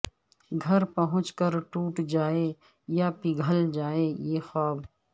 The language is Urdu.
گھر پہنچ کر ٹوٹ جائیں یا پگھل جائیں یہ خواب